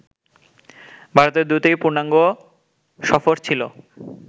ভারতের দুটি পূর্ণাঙ্গ সফর ছিল